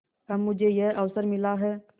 अब मुझे यह अवसर मिला है